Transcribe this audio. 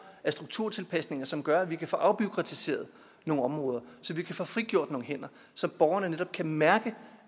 af strukturtilpasninger som gør at vi kan få afbureakratiseret nogle områder så vi kan få frigjort nogle hænder så borgerne netop kan mærke